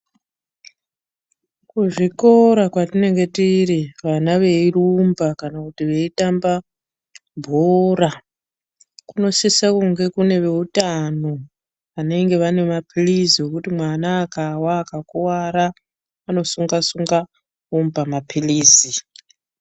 Kuzvikora kwatinenge tiri vana veirumba kana kuti veitamba bhora kunosisa kunge kune vehutano vanenge vane mapirizi ekuti mwana akawa akakuwara anosunga-sunga vomupa mapirizi.